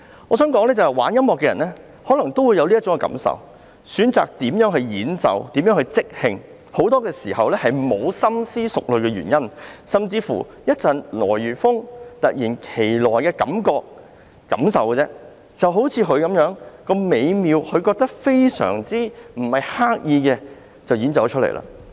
我想說，玩音樂的人可能也會有這種感受，如何演奏、如何即興創作，其實很多時候也沒有深思熟慮的原因，甚至只是出於一陣來如風、突如其來的感覺，就像這位結他手般，他認為很美妙，沒有刻意創作，便作出了演奏。